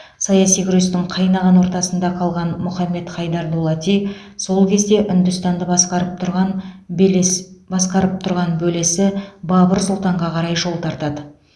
саяси күрестің қайнаған ортасында қалған мұхаммед хайдар дулати сол кезде үндістанды басқарып тұрған белес басқарып тұрған бөлесі бабыр сұлтанға қарай жол тартады